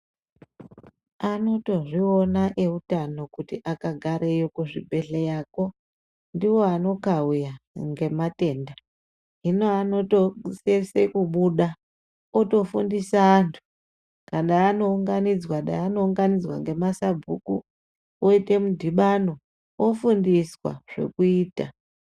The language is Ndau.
Anoto zviona eutano kuti akagareyo kuzvibhehleyakwo, ndiwo ano khauya ngematenda. Hino anoto sese kubuda oto fundisa antu. Ada ano unganidzwa, dei ano unganidzwa ngema sabhuku oite mudhibano, ofundiswa zvekuita.